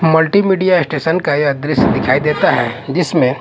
multimedia station का यह दृश्य दिखाई देता है जीसमें--